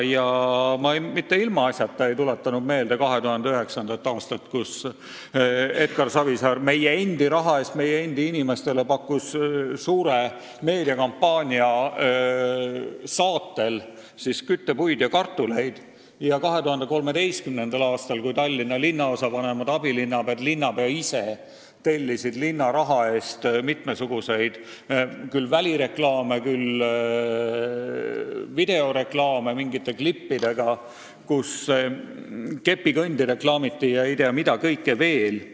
Ma mitte ilmaasjata ei tuletanud meelde 2009. aastat, kui Edgar Savisaar pakkus meie endi raha eest meie endi inimestele suure meediakampaania saatel küttepuid ja kartuleid, ega 2013. aastat, kui Tallinna linnaosavanemad, abilinnapead ja linnapea ise tellisid linna raha eest mitmesuguseid välireklaame ja videoreklaame mingite klippidega, kus reklaamiti kepikõndi ja ei tea mida kõike veel.